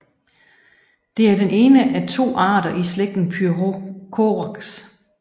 Det er den ene af to arter i slægten Pyrrhocorax